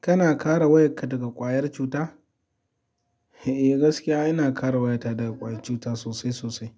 Kana kare wayarka daga ƙwayar cuta? Eh gaskiya ina kare wayata daga ƙwayar cuta sosai sosai.